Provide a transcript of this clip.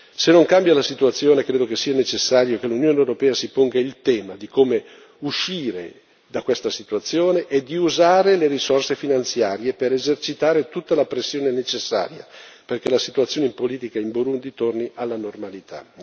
Se non cambia la situazione, credo che sia necessario che l'Unione europea si ponga il tema di come uscire da questa situazione e di usare le risorse finanziarie per esercitare tutta la pressione necessaria, perché la situazione politica in Burundi torni alla normalità.